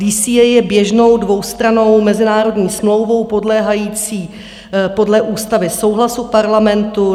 DCA je běžnou dvoustrannou mezinárodní smlouvou podléhající podle ústavy souhlasu Parlamentu.